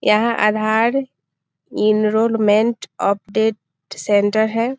यहाँ Aadhaar enrolment update centre है।